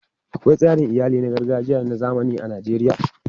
Akwai tsarin iyali na gargajiya da na zamani a Najeriya.